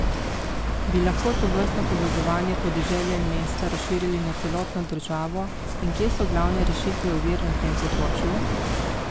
Bi lahko tovrstno povezovanje podeželja in mesta razširili na celotno državo in kje so glavne rešitve ovir na tem področju?